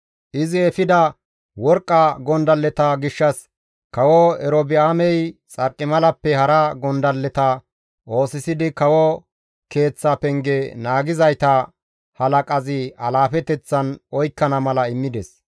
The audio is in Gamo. Izi efida worqqa gondalleta gishshas kawo Erobi7aamey xarqimalappe hara gondalleta oosisidi kawo keeththa penge naagizayta halaqazi alaafeteththan oykkana mala immides.